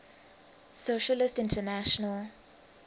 socialist international